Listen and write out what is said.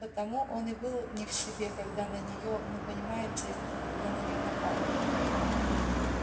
потому он и был не в себе когда на неё ну понимаете когда на неё напали